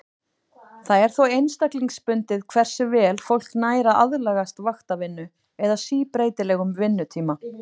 Það er þó einstaklingsbundið hversu vel fólk nær að aðlagast vaktavinnu eða síbreytilegum vinnutíma.